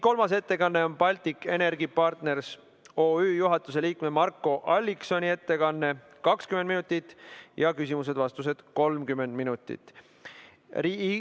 Kolmas ettekanne on Baltic Energy Partners OÜ juhatuse liikme Marko Alliksoni ettekanne, 20 minutit, küsimused ja vastused 30 minutit.